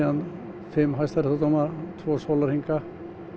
fimm hæstaréttardómara tvo sólarhringa